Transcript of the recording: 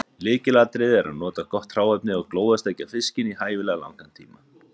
Lykilatriði er að nota gott hráefni og glóðarsteikja fiskinn í hæfilega langan tíma.